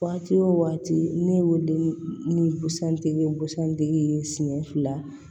Waati o waati ne y'o de busɛtigi ye busan tigi siɲɛ fila